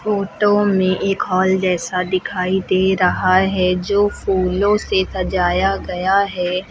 Photo में एक hall जैसा दिखाई दे रहा है जो फूलों से सजाया गया है।